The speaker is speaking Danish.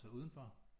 Altså udenfor